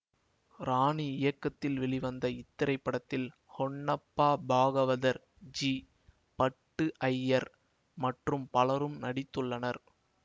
ராணி இயக்கத்தில் வெளிவந்த இத்திரைப்படத்தில் ஹொன்னப்பா பாகவதர் ஜி பட்டு ஜயர் மற்றும் பலரும் நடித்துள்ளனர்